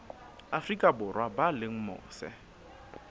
afrika borwa ba leng mose